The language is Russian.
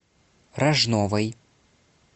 рожновой